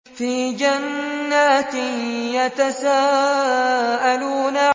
فِي جَنَّاتٍ يَتَسَاءَلُونَ